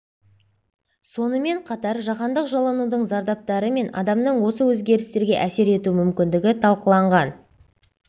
сонымен қатар жаһандық жылынудың зардаптары мен адамның осы өзгерістерге әсер ету мүмкіндігі талқыланған